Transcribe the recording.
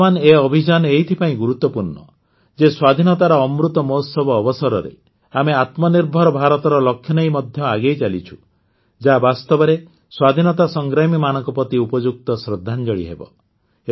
ବର୍ତ୍ତମାନ ଏ ଅଭିଯାନ ଏଥିପାଇଁ ଗୁରୁତ୍ୱପୂର୍ଣ୍ଣ ଯେ ସ୍ୱାଧିନତାର ଅମୃତ ମହୋତ୍ସବ ଅବସରରେ ଆମେ ଆତ୍ମନିର୍ଭର ଭାରତର ଲକ୍ଷ୍ୟନେଇ ମଧ୍ୟ ଆଗେଇ ଚାଲିଛୁ ଯାହା ବାସ୍ତବରେ ସ୍ୱାଧୀନତା ସଂଗ୍ରାମୀମାନଙ୍କ ପ୍ରତି ଉପଯୁକ୍ତ ଶ୍ରଦ୍ଧାଞ୍ଜଳି ହେବ